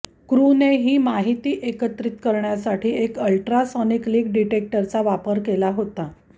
crew ने ही माहिती एकत्रित करण्यासाठी एक अल्ट्रासॉनिक लीक डिटेक्टरचा वापर केला होता